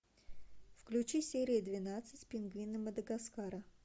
включи серия двенадцать пингвины мадагаскара